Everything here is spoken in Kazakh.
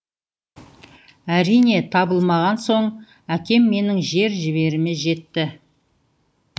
әрине табылмаған соң әкем менің жер жебіріме жетті